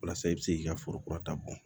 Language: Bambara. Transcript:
Walasa i bɛ se k'i ka foro kura ta bɔ